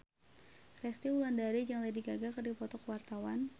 Resty Wulandari jeung Lady Gaga keur dipoto ku wartawan